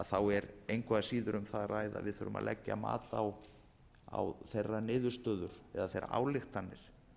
þá er engu að síður um það að ræða að við þurfum að leggja mat á þeirra niðurstöðu eða þeirra ályktanir